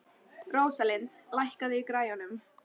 Rósalind, lækkaðu í græjunum.